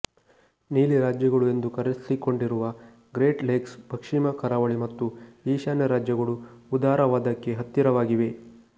ನೀಲಿ ರಾಜ್ಯಗಳು ಎಂದು ಕರೆಸಿಕೊಂಡಿರುವ ಗ್ರೇಟ್ ಲೇಕ್ಸ್ ಪಶ್ಚಿಮ ಕರಾವಳಿ ಮತ್ತು ಈಶಾನ್ಯ ರಾಜ್ಯಗಳು ಉದಾರವಾದಕ್ಕೆ ಹತ್ತಿರವಾಗಿವೆ